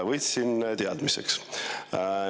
Võtsin teadmiseks.